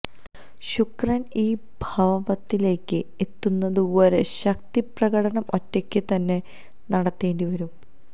ശുക്രൻ ഈ ഭാവത്തിലേക്ക് എത്തുന്നത് വരെ ശക്തി പ്രകടനം ഒറ്റയ്ക്ക് തന്നെ നടത്തേണ്ടി വരും